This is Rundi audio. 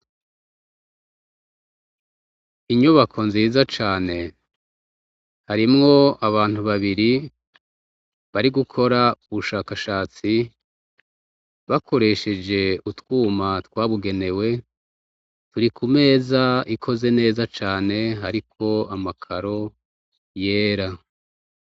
Inyubako nziza cane, harimwo abantu babiri bari gukora ubushakashatsi bakoresheje utwuma twabugenewe, turi ku meza ikoze neza cane, hariko amakaro yera.